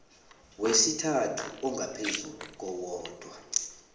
wesintu ongaphezu kowodwa